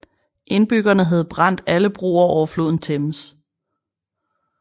Indbyggerne havde brændt alle broer over floden Thames